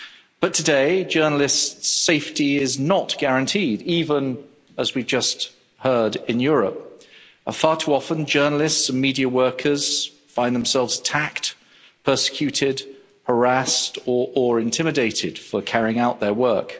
But today, journalists' safety is not guaranteed, even as we just heard in Europe, as far too often journalists and media workers find themselves attacked, persecuted, harassed or intimidated for carrying out their work.